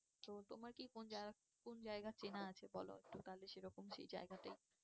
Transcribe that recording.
তো তোমার কি কোন জায়গা, কোন জায়গা চেনা আছে বলো তো তাহলে সেরকম সেই জায়গায়তেই